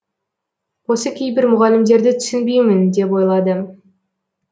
осы кейбір мұғалімдерді түсінбеймін деп ойлады